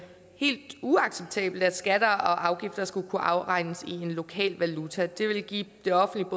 helt uacceptabelt at skatter og afgifter skulle kunne afregnes i en lokal valuta det ville give det offentlige